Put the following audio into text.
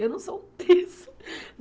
Eu não sou um terço.